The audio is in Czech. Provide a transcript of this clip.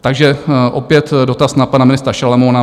Takže opět dotaz na pana ministra Šalomouna.